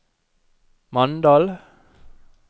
Mandal